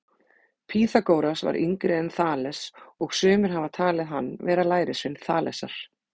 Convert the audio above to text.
Pýþagóras var yngri en Þales og sumir hafa talið hann vera lærisvein Þalesar.